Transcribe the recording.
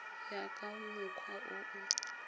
ya ka mokgwa o o